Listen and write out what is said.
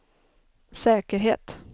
säkerhet